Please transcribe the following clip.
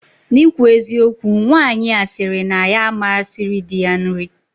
Na ikwu eziokwu, Nwanyi a siri na ya ama siri di ya nri